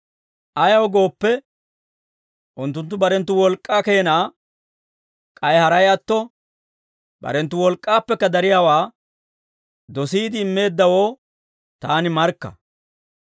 Ayaw gooppe, unttunttu barenttu wolk'k'aa keenaa k'ay haray atto barenttu wolk'k'aappekka dariyaawaa dosiide immeeddawoo taani markka.